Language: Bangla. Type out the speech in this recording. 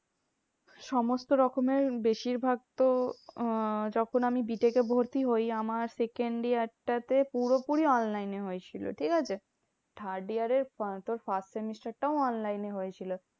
সমস্ত রকমের বেশিরভাগ তো আহ যখন আমি বি টেক এ ভর্তি হই আমার second year টা তে পুরোপুরি online এ হয়েছিল, ঠিকাছে? third year এ তোর first semester টাও online এ হয়েছিল।